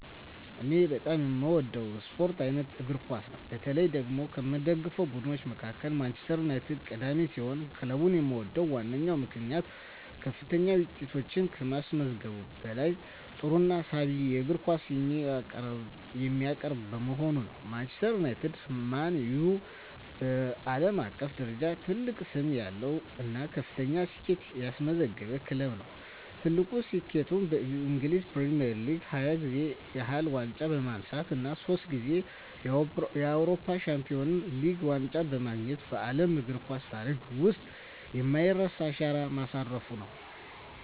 እኔ በጣም የምወደው የስፖርት አይነት እግር ኳስ ነው። በተለይ ደግሞ ከምደግፋቸው ቡድኖች መካከል ማንቸስተር ዩናይትድ ቀዳሚ ሲሆን፣ ክለቡን የምወድበት ዋነኛው ምክንያት ከፍተኛ ውጤቶችን ከማስመዝገቡም በላይ ጥሩና ሳቢ የእግር ኳስ የሚያቀርብ በመሆኑ ነው። ማንቸስተር ዩናይትድ (ማን ዩ) በዓለም አቀፍ ደረጃ ትልቅ ስም ያለው እና ከፍተኛ ስኬቶችን ያስመዘገበ ክለብ ነው። ትልቁ ስኬቱም በእንግሊዝ ፕሪሚየር ሊግ 20 ጊዜ ያህል ዋንጫ በማንሳት እና ሶስት ጊዜ የአውሮፓ ቻምፒየንስ ሊግ ዋንጫን በማግኘት በዓለም እግር ኳስ ታሪክ ውስጥ የማይረሳ አሻራ ማሳረፉ ነው።